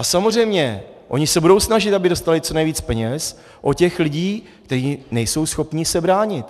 A samozřejmě, oni se budou snažit, aby dostali co nejvíc peněz od těch lidí, kteří nejsou schopni se bránit.